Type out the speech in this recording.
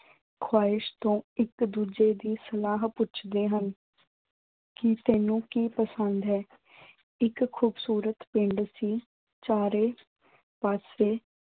ਖੁਆਇਸ਼ ਤੋਂ ਇੱਕ-ਦੂਜੇ ਦੀ ਸਲਾਹ ਪੁੱਛਦੇ ਹਨ ਕਿ ਤੈਨੂੰ ਕੀ ਪਸੰਦ ਹੈ। ਇੱਕ ਖੂਬਸੂਰਤ ਪਿੰਡ ਸੀ। ਚਾਰੇ ਪਾਸੇ